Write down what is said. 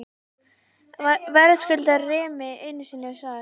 Verðskuldar Remi einu sinni svar?